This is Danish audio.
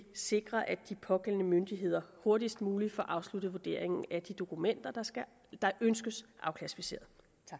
sikre at de pågældende myndigheder hurtigst muligt får afsluttet vurderingen af de dokumenter der ønskes afklassificeret